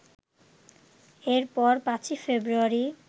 এরপর ৫ই ফেব্রুয়ারি